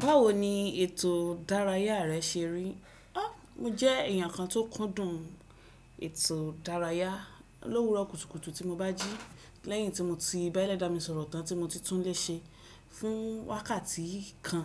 Báwo ni ètò ìdárayá rẹ ṣe rí? Mobjẹ́ ẹ̀yàn kan tó kúndùn ètò ìdárayá. Lówurọ̀ kùtùkùtù tí mo bá jí lẹ́yìn tí mo ti bá ẹlẹ́dà mi sọ̀rọ̀ tán tí mo ti tún lè ṣe fún wákàtí kan.